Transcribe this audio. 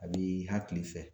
A b'i hakili fɛ.